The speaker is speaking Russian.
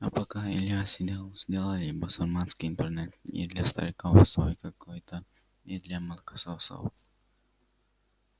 а пока илья сидел сделали и басурманский интернет и для стариков свой какой-то и для молокососов